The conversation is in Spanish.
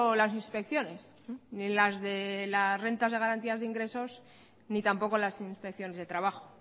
las inspecciones ni las de las rentas de garantía de ingresos ni tampoco las inspecciones de trabajo